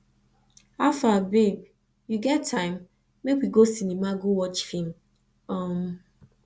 howfar babe you get time make we go cinema go watch film um